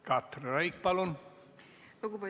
Katri Raik, palun!